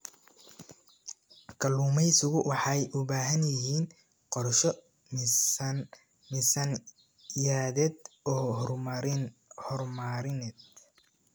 Kalluumaysigu waxay u baahan yihiin qorshe miisaaniyadeed oo horumarineed.